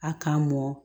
A k'a mɔn